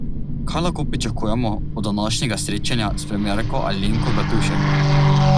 Kaj lahko pričakujemo od današnjega srečanja s premierko Alenko Bratušek?